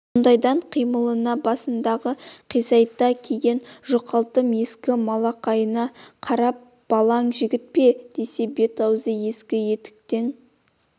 сонадайдан қимылына басындағы қисайта киген жұқалтым ескі малақайына қарап балаң жігіт пе десе бет-аузы ескі етіктің